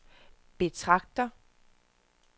betragter